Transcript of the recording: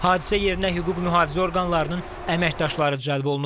Hadisə yerinə hüquq mühafizə orqanlarının əməkdaşları cəlb olunub.